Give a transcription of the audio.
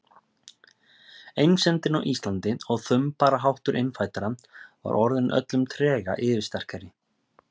Einsemdin á Íslandi og þumbaraháttur innfæddra var orðin öllum trega yfirsterkari.